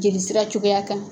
Jeli sira cogoya kan.